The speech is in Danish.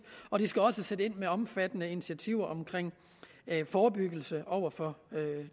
og de skal også sætte ind med omfattende initiativer omkring forebyggelse over for